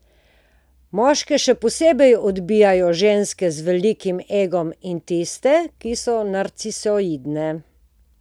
Moške še posebej odbijajo ženske z velikim egom in tiste, ki so narcisoidne.